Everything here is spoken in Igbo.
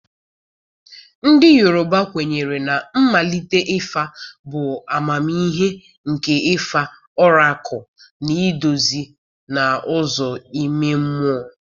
Ndị Yoruba kwenyere na mmalite ịfa bụ amamihe nke ịfa ọrakụlụ na-eduzi n'ụzọ ime mmụọ.